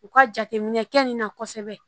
U ka jateminɛ kɛ nin na kosɛbɛ